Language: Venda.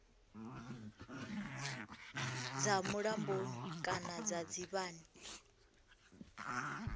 dza mulamboni kana dza dzivhani